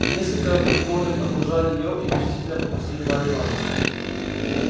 несколько придворных окружали её и почтительно пропустили марью ивановну